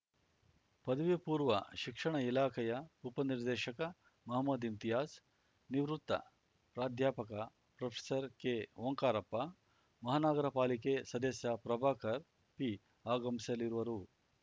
ಪದವಿಪೂರ್ವ ಶಿಕ್ಷಣ ಇಲಾಖೆಯ ಉಪನಿರ್ದೇಶಕ ಮಹಮದ್‌ ಇಂತಿಯಾಜ್‌ ನಿವೃತ್ತ ಪ್ರಾಧ್ಯಾಪಕ ಪ್ರೊಫೆಸರ್ ಕೆಓಂಕಾರಪ್ಪ ಮಹಾನಗರಪಾಲಿಕೆ ಸದಸ್ಯ ಪ್ರಭಾಕರ ಪಿ ಆಗಮಿಸಲಿರುವರು